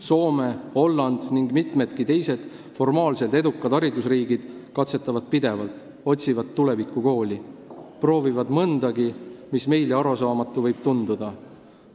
Soome, Holland ja mitmedki teised formaalselt edukad haridusriigid katsetavad pidevalt, otsivad tulevikukooli, proovivad mõndagi, mis võib meile arusaamatuna tunduda.